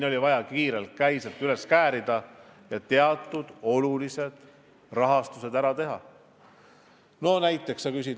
Oli vaja kiirelt käised üles käärida ja teatud olulised rahastused ära teha.